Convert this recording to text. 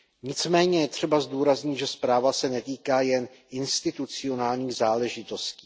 Nicméně je třeba zdůraznit, že zpráva se netýká jen institucionálních záležitostí.